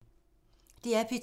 DR P2